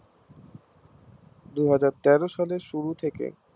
দুহাজার তেরো সালের শুরু থেকে